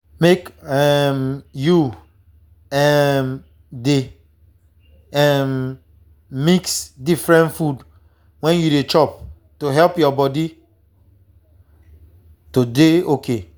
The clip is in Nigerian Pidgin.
make um you um dey um mix different food when you dey chop to help your body. to dey okay